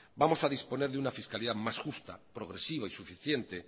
vamos a disponer de una fiscalidad más justa progresiva y suficiente